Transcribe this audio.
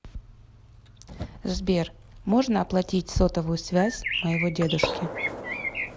сбер можно оплатить сотовую связь моего дедушки